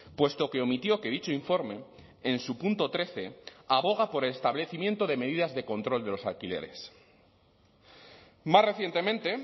puesto que omitió que dicho informe en su punto trece aboga por el establecimiento de medidas de control de los alquileres más recientemente